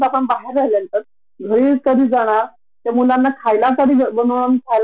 ते फक्त एम्प्लॉयी साठी बदलेले असतात बर वर्षभरात त्याचा काहीच फायदा होत नाही अस मला वत्ती माहिती आहे का?